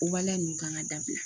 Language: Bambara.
O waleya ninnu kan ka dabila